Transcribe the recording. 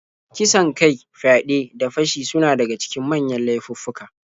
Kisan kai, fyaɗe, da fashi suna daga cikin manyan laifuffuka.